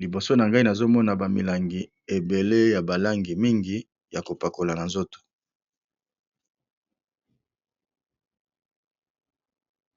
liboso na ngai nazo mona ba milangi ebele ya balangi mingi ya ko pakola na nzoto. .